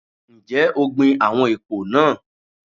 Ǹjẹ́ o gbin àwọn èpò náà?